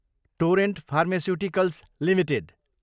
torrent pharmaceuticals Ltd